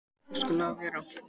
Það skall á veður.